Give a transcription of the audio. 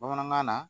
Bamanankan na